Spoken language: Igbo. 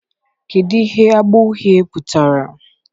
kedu ihe agba uhie pụtara